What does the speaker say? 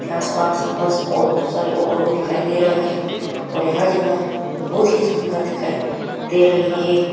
आसपास बस और बहुत सारे ऑटो भी दिखाई दे रहा है और ये जगह बहुत ही सुंदर दिखाई दे रही है।